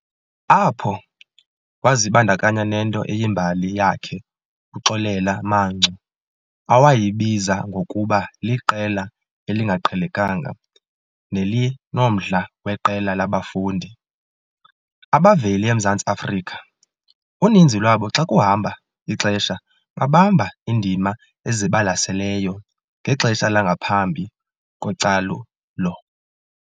Apho, wazibandakanya nento eyimbali yakhe u-Xolela Mangcu awayibiza ngokuba "liqela elingaqhelekanga nelinomdla weqela labafundi" abavela eMzantsi Afrika, uninzi lwabo xa kuhamba ixesha babamba iindima ezibalaseleyo ngexesha langaphambi kocalulo.